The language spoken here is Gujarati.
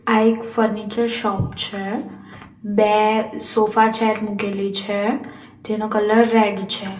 આ એક ફર્નિચર શોપ છે બે સોફા ચેર મુકેલી છે તેનો કલર રેડ છે.